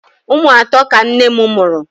Ụmụ atọ ka nne m mụrụ.